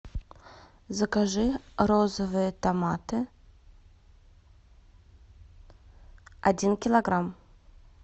закажи розовые томаты один килограмм